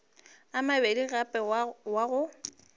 a mabedi gape wa go